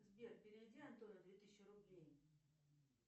сбер переведи антону две тысячи рублей